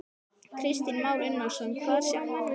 Kristján Már Unnarsson: Hvað sjá menn við Stykkishólm?